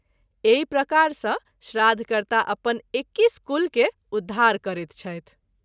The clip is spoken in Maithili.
एहि प्रकार सँ श्राद्ध कर्ता अपन एक्कीस कुल के उद्धार करैत छथि।